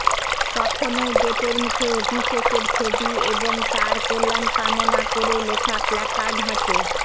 তখনও গেটের মুখে অভিষেকের ছবি এবং তাঁর কল্যাণ কামনা করে লেখা প্ল্যাকার্ড হাতে